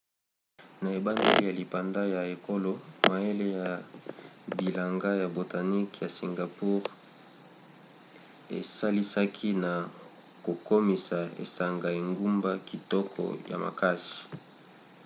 na ebandeli ya lipanda ya ekolo mayele ya bilanga ya botaniques ya singapour esalisaki na kokomisa esanga engumba kitoko ya makasi